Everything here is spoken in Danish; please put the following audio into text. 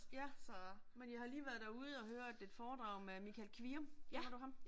Ja, men jeg har lige været derude og høre et et foredrag med Michael Kvium, kender du ham?